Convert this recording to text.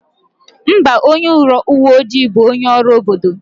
Mba, onye uwe ojii bụ onye ọrụ obodo.